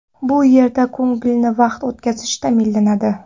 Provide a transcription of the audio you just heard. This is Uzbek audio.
Bu yerda ko‘ngilli vaqt o‘tkazishingiz ta’minlanadi.